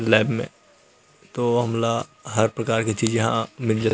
lab में तो हमला हर प्रकार के चीज यहाँ मिल ज--